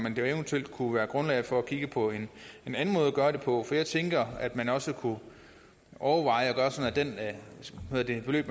eventuelt kunne være grundlag for at kigge på en anden måde at gøre det på for jeg tænker at man også kunne overveje at gøre det sådan at det beløb